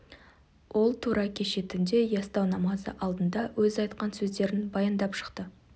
ол тура кеше түнде ястау намазы алдында өзі айтқан сөздерін баяндап шықты